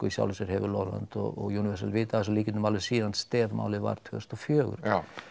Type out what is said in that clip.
í sjálfu sér hefur Lövland og Universal vitað af þessum líkindum alveg síðan STEF málið var tvö þúsund og fjögur